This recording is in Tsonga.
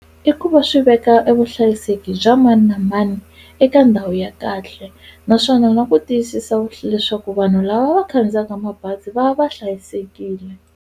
I ku va swi veka e vuhlayiseki bya mani na mani eka ndhawu ya kahle naswona na ku tiyisisa leswaku vanhu lava va khandziyaka mabazi va va va hlayisekile.